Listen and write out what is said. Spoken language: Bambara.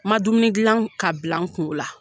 Ma dumuni dilan ka bila kun o la.